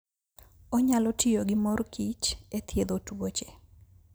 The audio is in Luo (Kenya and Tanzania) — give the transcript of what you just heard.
Onyalo tiyo gi mor kich e thiedho tuoche.